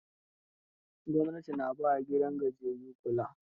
Gwamnati na ba wa gidajen gajiyayyu kula.